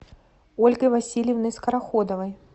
ольгой васильевной скороходовой